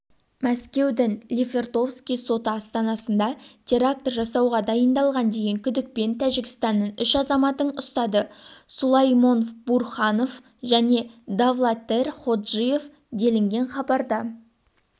мәскеудің лефортовский соты астанасында теракті жасауға адйындалған деген күдікпен тәжікстанның үш азаматын ұстады сулаймонбурхонов және давлатер ходжиев делінген хабарда